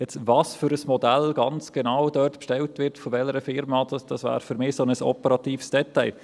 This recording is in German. Welches Modell es bei welcher Firma genau bestellt, wäre für mich ein solch operatives Detail.